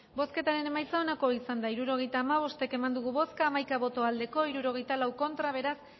bozketaren emaitza onako izan da hirurogeita hamabost eman dugu bozka hamaika boto aldekoa sesenta y cuatro contra beraz